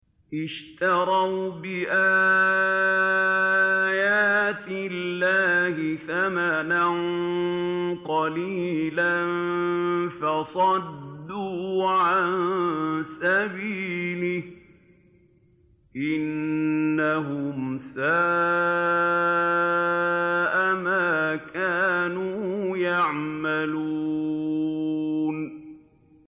اشْتَرَوْا بِآيَاتِ اللَّهِ ثَمَنًا قَلِيلًا فَصَدُّوا عَن سَبِيلِهِ ۚ إِنَّهُمْ سَاءَ مَا كَانُوا يَعْمَلُونَ